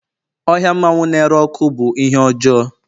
ohia mmanwu na-ere ọkụ bụ ihe ọjọọ